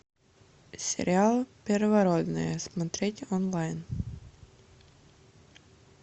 сериал первородные смотреть онлайн